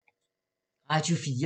Radio 4